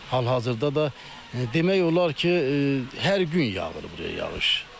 Hal-hazırda da demək olar ki, hər gün yağır buraya yağış.